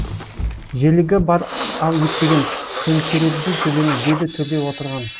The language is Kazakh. желігі бар ау ептеген төңкерердей төбені деді төрде отырған